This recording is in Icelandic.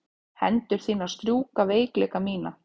Hendur þínar strjúka veikleika mína.